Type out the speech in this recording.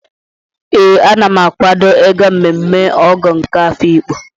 Ee, Ana m akawado ịga mmemme Ọgọ nke Afiikpo.